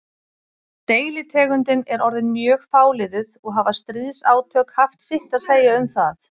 Deilitegundin er orðin mjög fáliðuð og hafa stríðsátök haft sitt að segja um það.